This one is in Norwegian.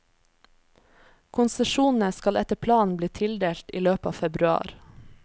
Konsesjonene skal etter planen bli tildelt i løpet av februar.